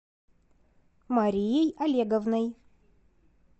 марией олеговной